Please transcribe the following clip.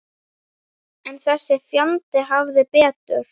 En þessi fjandi hafði betur.